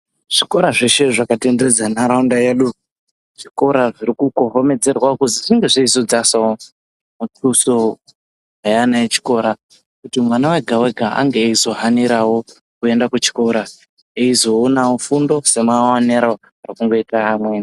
Zvikora zveshe zvakatenderedza nharaunda yedu, zvikora zviri kukohomedzerwa kuzi zvinge zveizodzasawo muthuso weana echikora kuti mwana wega wega ange achizohanirawo kuenda kuchikora. Eizoonawo fundo semaonero ari kuita amweni.